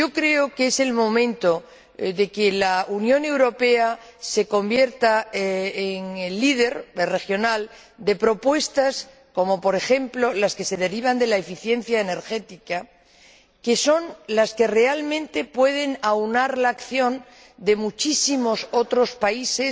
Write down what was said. Yo creo que es el momento de que la Unión Europea se convierta en el líder regional en materia de propuestas como, por ejemplo, las que se derivan de la eficiencia energética, que son las que realmente pueden aunar la acción de muchísimos otros países,